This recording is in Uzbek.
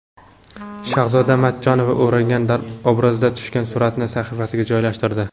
Shahzoda Matchonova o‘rangan obrazda tushgan suratini sahifasiga joylashtirdi.